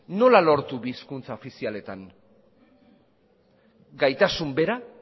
nola lortu bi hizkuntza ofizialetan gaitasun bera